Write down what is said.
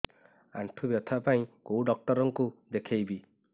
ଆଣ୍ଠୁ ବ୍ୟଥା ପାଇଁ କୋଉ ଡକ୍ଟର ଙ୍କୁ ଦେଖେଇବି